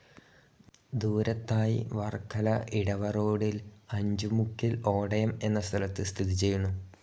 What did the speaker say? ദൂരത്തായി വർക്കല ഇടവ റോഡിൽ അഞ്ചു മുക്കിൽ ഓടയം എന്ന സ്ഥലത്ത് സ്ഥിതിചെയ്യുന്നു.